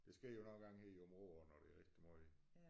Det sker jo nok engang her i Aabenraa når der er rigtig måj